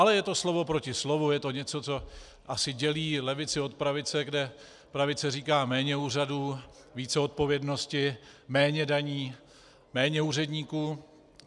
Ale je to slovo proti slovu, je to něco, co asi dělí levici od pravice, kde pravice říká méně úřadů, více odpovědnosti, méně daní, méně úředníků.